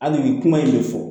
Hali nin kuma in de fɔ